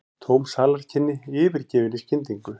Tóm salarkynni yfirgefin í skyndingu.